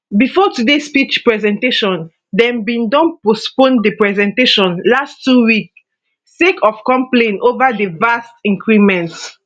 bifor today speech presentation dem bin don postpone di presentation last two weeks sake of complain ova di vat increment